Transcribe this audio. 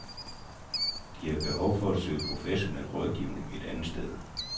De har behov for at søge professionel rådgivning et andet sted.